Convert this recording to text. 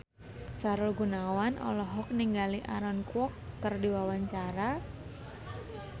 Sahrul Gunawan olohok ningali Aaron Kwok keur diwawancara